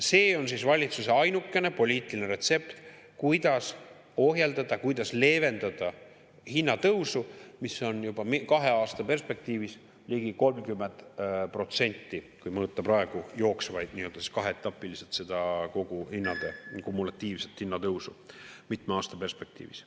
See on siis valitsuse ainukene poliitiline retsept, kuidas ohjeldada ja leevendada hinnatõusu, mis on kahe aasta perspektiivis juba ligi 30%, kui mõõta praegu jooksvalt, kaheetapiliselt kogu hindade kumulatiivset hinnatõusu mitme aasta perspektiivis.